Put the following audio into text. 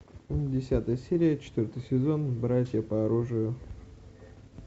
десятая серия четвертый сезон братья по оружию